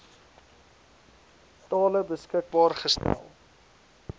tale beskikbaar stel